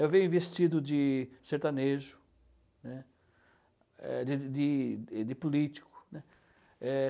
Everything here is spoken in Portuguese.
Eu venho vestido de sertanejo, né, é de de de político, né. É...